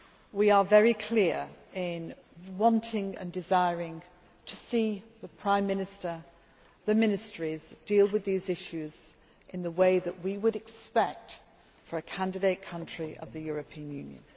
We are very clear in wanting and desiring to see the Prime Minister, the ministries, deal with these issues in the way that we would expect for a candidate country of the European Union.